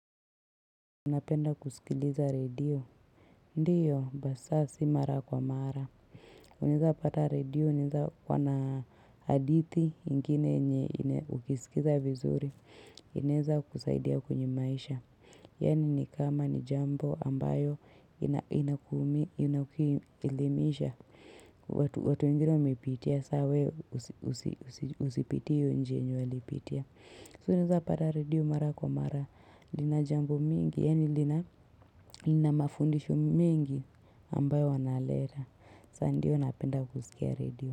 Unapenda kusikiliza radio? Ndiyo basa si mara kwa mara, unaezapata radio, inaeza kuwa na hadithi ingine yenye ukisikiza vizuri, inaeza kusaidia kwenye maisha, yani ni kama ni jambo ambayo ina, ina inakuelimisha, watu wengine wameipitia, sa wewe usipitie hiyo njia yenye walipitia. So unaeza pata radio mara kwa mara lina jambo mingi yaani lina, lina mafundisho mengi ambayo wanaleta sa ndiyo napenda kusikia redio.